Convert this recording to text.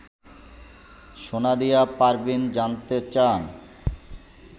সোনিয়া পারভীন জানতে চান